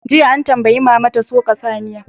Jiya, an tambayi mama ta "Soka tsamiya!"